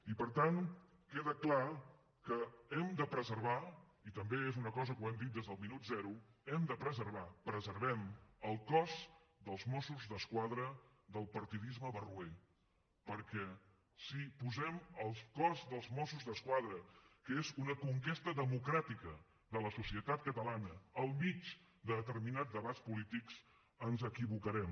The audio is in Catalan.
i per tant queda clar que hem de preservar i també és una cosa que hem dit des del minut zero preservem el cos de mossos d’esquadra del partidisme barroer perquè si posem el cos de mossos d’esquadra que és una conquesta democràtica de la societat catalana al mig de determinats debats polítics ens equivocarem